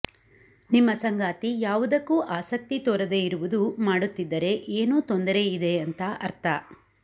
ನಿಮ್ಮ ಸಂಗಾತಿ ಯಾವುದಕ್ಕೂ ಆಸಕ್ತಿ ತೋರದೆ ಇರುವುದು ಮಾಡುತ್ತಿದ್ದರೆ ಏನೋ ತೊಂದರೆಯಿದೆ ಅಂತ ಅರ್ಥ